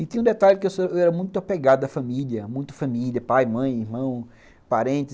E tem um detalhe que eu era muito apegado à família, muito família, pai, mãe, irmão, parentes.